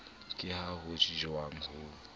ke ha ho tjhang ho